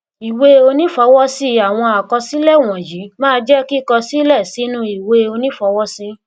ìwé onífọwọsí àwọn àkọsílẹ wọnyìí máa jẹ kíkọ sílẹ sínú ìwé onífọwọsí